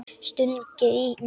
Stungið í mig?